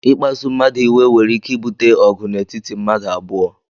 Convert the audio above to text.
Ikpasu mmadu iwe nwere ike ibute ọgụ n'etiti mmadụ abụọ.